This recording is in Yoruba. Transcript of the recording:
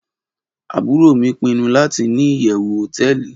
Aburo mi pinu lati ni iyewu hoteeli